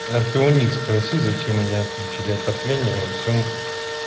а ты у них спроси зачем они отключили отопление во всем